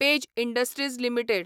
page Industries limited